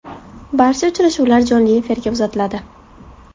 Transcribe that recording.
Barcha uchrashuvlar jonli efirga uzatiladi.